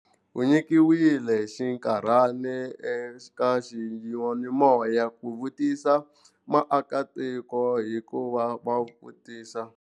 U nyikiwile xinkarhana eka xiyanimoya ku vutisa vaakatiko hikuva va vutisa.